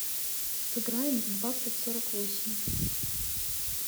сыграем в двадцать сорок восемь